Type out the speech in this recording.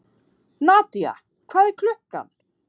Nadia, hvað er klukkan?